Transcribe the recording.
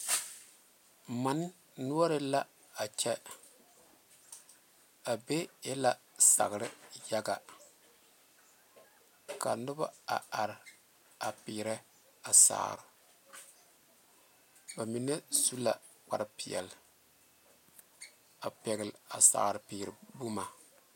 Mane noɔre l,a kyɛ a be e la sagre yaga ka noba a are a peere a sagre ba mine su la kparepeɛle a pɛgle a sagrepeere boma.